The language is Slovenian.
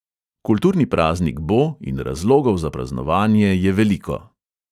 Kulturni praznik bo in razlogov za praznovanje je veliko.